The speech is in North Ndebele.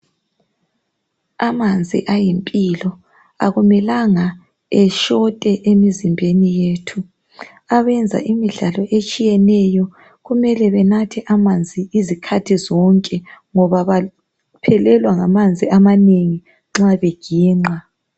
Amanzi ayimpilo akumelanga eshote emizimbeni yethu, abenza imidlalo etshiyeneyo kumele benathe amanzi izikhathi zonke ngoba baphelelwa ngamanzi amanengi nxa beginqa.